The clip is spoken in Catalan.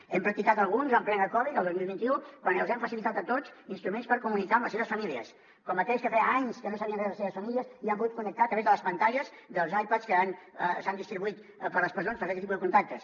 n’hem practicat alguns en plena covid el dos mil vint u quan els hem facilitat a tots instruments per comunicar se amb les seves famílies com aquells que feia anys que no sabien res de les seves famílies i hi han pogut connectar a través de les pantalles dels ipads que s’han distribuït per les presons per fer aquest tipus de contactes